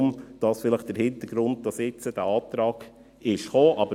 Das ist vielleicht der Hintergrund, weshalb dieser Antrag jetzt gekommen ist.